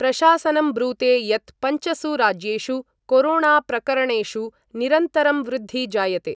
प्रशासनं ब्रूते यत् पंचसु राज्येषु कोरोणाप्रकरणेषु निरन्तरं वृद्धि जायते।